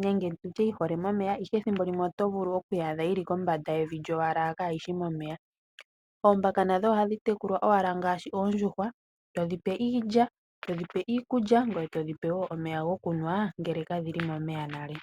nenge dhihole momeya, ihe thimbo limwe oto vulu okudhi adha dhi li kombanda yevi lyowala kaayishi momeya. Oombaka nadho ohadhi tekulwa owala ngaashi oondjuhwa. Tadhi pewa iilya, iikulya, dho tadhi pewa wo omeya gokunwa, ngele kadhi li momeya nale.